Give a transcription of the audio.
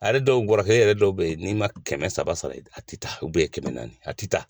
A yɛrɛ dɔw bɔrɛ kelen yɛrɛ dɔw bɛ yen n'i ma kɛmɛ saba sara a tɛ taa kɛmɛ naani a tɛ taa